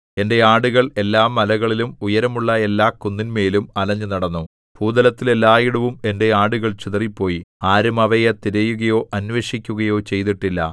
എന്റെ ആടുകൾ എല്ലാമലകളിലും ഉയരമുള്ള എല്ലാ കുന്നിന്മേലും അലഞ്ഞുനടന്നു ഭൂതലത്തിൽ എല്ലായിടവും എന്റെ ആടുകൾ ചിതറിപ്പോയി ആരും അവയെ തിരയുകയോ അന്വേഷിക്കുകയോ ചെയ്തിട്ടില്ല